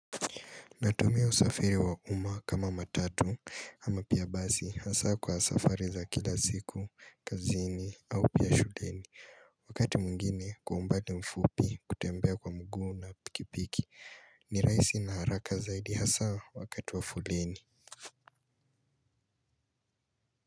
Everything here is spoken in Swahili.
Natumia usafiri wa uma kama matatu ama pia basi hasa kwa safari za kila siku, kazini au pia shuleni. Wakati mwingine kwa mbadi mfupi kutembea kwa mguu na pikipiki ni rahisi na haraka zaidi hasaa wakati wa foleni.